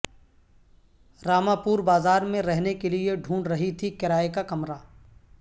راما پور بازار میں رہنے کیلئے ڈھونڈ رہی تھی کرائے کا کمرہ